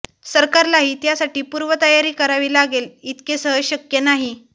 सरकारलाही त्यासाठी पूर्वतयारी करावी लागेल इतके सहज शक्य नाही